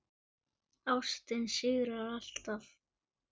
Ástin sigrar allt.